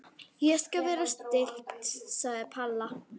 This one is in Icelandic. Ég skal vera stillt sagði Palla.